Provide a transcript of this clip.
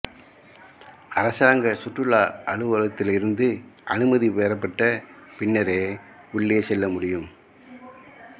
அரசாங்க சுற்றுலா அலுவலகத்திலிருந்து அனுமதி பெறப்பட்ட பின்னரே உள்ளே செல்ல முடியும்